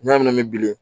N'a mɛn bilen